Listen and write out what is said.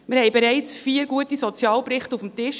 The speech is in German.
Wir hatten bereits vier gute Sozialberichte auf dem Tisch.